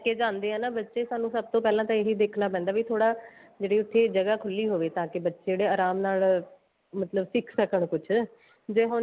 ਜਾਂਦੇ ਏ ਨਾ ਬੱਚੇ ਸਾਨੂੰ ਸਭ ਤੋਂ ਪਹਿਲਾਂ ਤਾਂ ਇਹੀ ਦੇਖਣਾ ਪੈਂਦਾ ਵੀ ਥੋੜਾ ਜਿਹੜੀ ਉੱਥੇ ਜਗ੍ਹਾ ਖੁੱਲੀ ਹੋਵੇ ਤਾਂ ਕੇ ਬੱਚੇ ਜਿਹੜੇ ਆਰਾਮ ਨਾਲ ਮਤਲਬ ਸਿਖ ਸਕਣ ਕੁੱਝ ਜੇ ਹੁਣ